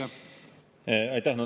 Aitäh!